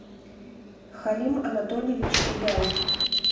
халим анатольевич хигай